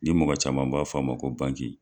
Ni mɔgɔ caman b'a f'a ma ko bangji.